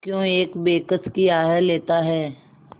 क्यों एक बेकस की आह लेता है